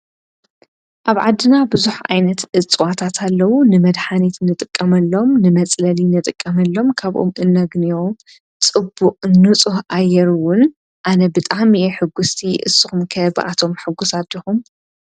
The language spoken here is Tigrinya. ኣብ ዓድና ብዙሓት ዓይነት እጽዋት ኣለዉ። ንመድሓኒት ንጥቀመሎም ንመጽለሊ ንጥቀመሎም ካባኦም እንግንዮም ጽቡቅ ንጹህ ኣየር እዉን ኣነ ብጣዕሚ ኣየ ሕጉስቲ ንስኹም ኸ ባቶም ሕጉሳት ዲኩም?